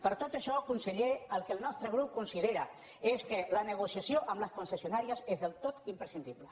per tot això conseller el que el nostre grup considera és que la negociació amb les concessionàries és del tot imprescindible